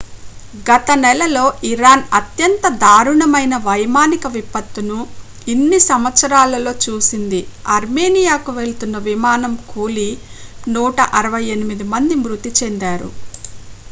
గత నెలలో ఇరాన్ అత్యంత దారుణమైన వైమానిక విపత్తును ఇన్ని సంవత్సరాలలో చూసింది ఆర్మేనియాకు వెళ్తున్న విమానం కూలి 168 మంది మృతి చెందారు